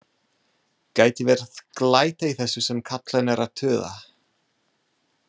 Gæti verið glæta í þessu sem kallinn er að tuða.